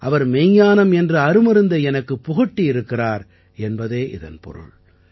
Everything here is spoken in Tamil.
அவர் மெய்ஞானம் என்ற அருமருந்தை எனக்குப் புகட்டியிருக்கிறார் என்பதே இதன் பொருள்